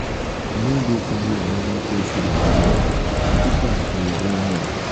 no go carry anoda pesin wahala put am for your own head.